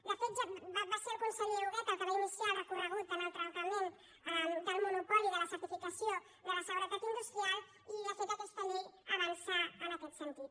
de fet va ser el conseller huguet el que va iniciar el recorregut en el trencament del monopoli de la certificació de la seguretat industrial i de fet aquesta llei avança en aquest sentit